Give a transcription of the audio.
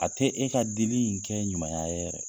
A tɛ e ka dili in kɛ ɲumaya ye yɛrɛ